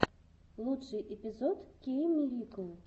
лучший эпизод кейммирикл